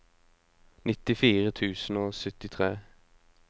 nittifire tusen og syttitre